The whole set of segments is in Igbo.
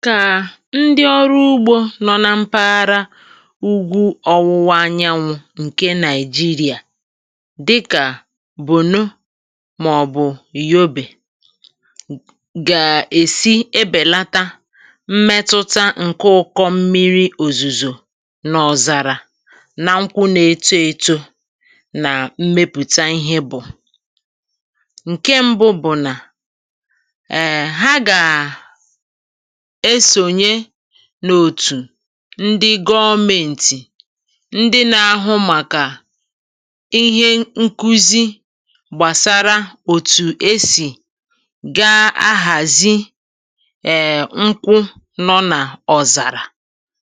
Maka ndị ọrụ ugbò nọ n’mpaghara ugwu ọ̀wụ̀wa anyanwụ Naịjíríà, dịkà Borno maọ̀bụ Yobè, iji belata mmetụta ụkọ mmìrì ozuzo na ọnọdụ̀ ọ̀zàrà n’eto nkwụ na mmepụ̀ta, ihe mbụ bụ̀ isonye n’òtù gọ̀menti, isonye n’òtù gọ̀menti, nke na-enye nkuzi na ntụziaka gbasara otú e si eme ugbò n’ọ̀zàrà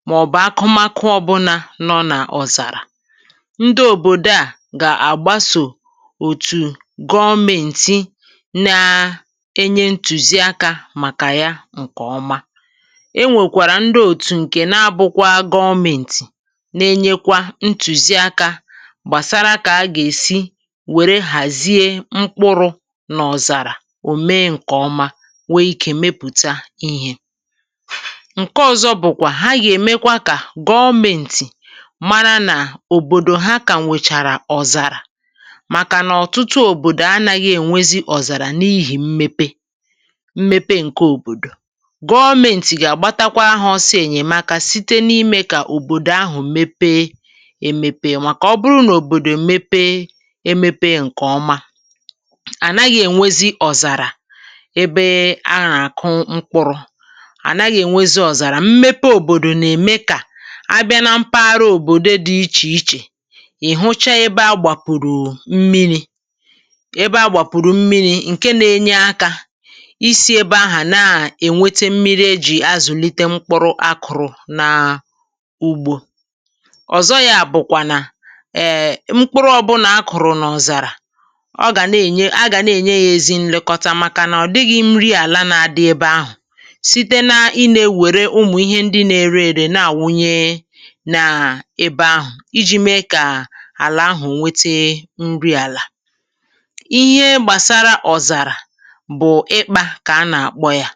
maọ̀bụ n’ala nke na-adịghị enwe mmìrì zuru oke. Òbòdò ndị dị n’ọ̀zàrà dị otu a kwesiri iso òtù gọ̀menti. E nwekwara òtù, e nwekwara òtù, nke gọ̀menti na-akwado, nke na-enye ntụziaka banyere otú e si akwàdo mkpụrụ n’ọ̀zàrà ka ọ wee mee nke ọma ma mepụta ihe. Nke a na-enyekwara gọ̀menti aka ịmara, ịmara, òbòdò ndị nwere ọnọdụ̀ ọ̀zàrà. N’ihi na òtùtụ̀ òbòdò anaghị enwe nsogbu ọ̀zàrà, anaghị enwe nsogbu ọ̀zàrà, n’ihi mmepe. Mmepe gọ̀menti na-agbatakwa aka, na-agbatakwa aka, na-enyere aka ka òbòdò ndị ahụ nwee ike mepee ma too. Mgbe òbòdò toro nke ọma, ọnọdụ̀ ọ̀zàrà na-ebelata, ọnọdụ̀ ọ̀zàrà na-ebelata. um N’ebe e kụ̀rụ̀ ihe ọkụkụ, ọ̀zàrà adịkwaghị, ọ̀zàrà adịkwaghị. Mmepe òbòdò na-ebelata ọ̀zàrà, ọ̀kàrà ma e wulite ebe a na-anakọta mmìrì, ma tinye ụzọ mmìrì, ka àlà nweta nri àlà ọzọ, ka ugbò gaa n’ihu.